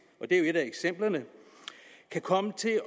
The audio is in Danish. og det er jo et af eksemplerne kan komme til